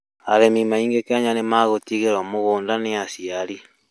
Arĩmi aingĩ Kenya nĩ a gũtigĩrwo mũgũnga nĩ aciari